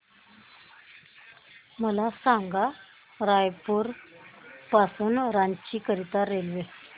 मला सांगा रायपुर पासून रांची करीता रेल्वे